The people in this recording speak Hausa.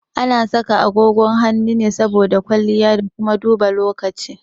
Ana saka agogon hannu saboda kwalliya da kuma duba lokaci.